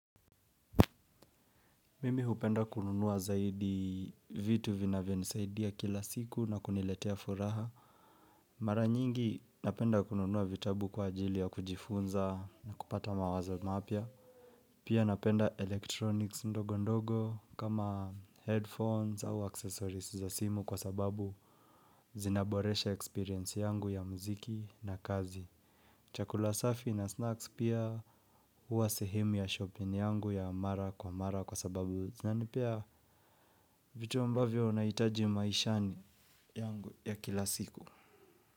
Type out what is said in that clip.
Mimi hupenda kununua zaidi vitu vina vyonisaidia kila siku na kuniletea furaha. Mara nyingi, napenda kununua vitabu kwa ajili ya kujifunza na kupata mawazo mapya. Pia napenda electronics ndogo ndogo kama headphones au accesoris za simu kwa sababu, zinaboresha experience yangu ya mziki na kazi. Chakula safi na snacks pia, huwa sehemu ya shopping yangu ya mara kwa mara kwa sababu, zinanipea vitu ambavyo naitaji maishani yangu ya kila siku.